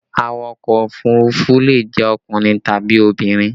Awakọ̀ òfurufú le jẹ́ ọkùnrin tàbí obìnrin